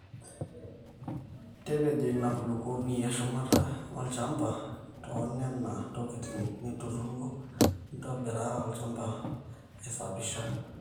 tapejo ina kulukuoni eshumata olchambamba toonena tokitin ninturruro intobirita olchamba aisapisha